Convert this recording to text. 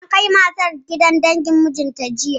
An kai matar gidan dangin mijin, jiya.